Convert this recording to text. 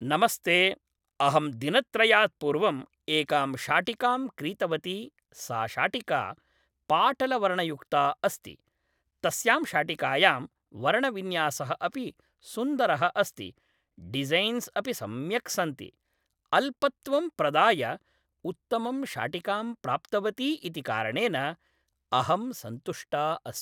नमस्ते अहं दिनत्रयात् पूर्वम् एकां शाटिकां क्रीतवति सा शाटिका पाटलवर्णयुक्ता अस्ति तस्यां शाटिकायां वर्णविन्यासः अपि सुन्दरः अस्ति डिज़ैन्स् अपि सम्यक् सन्ति । अल्पत्वं प्रदाय उत्तमं शाटिकाम् प्राप्तवती इति कारणेन अहं सन्तुष्टा अस्मि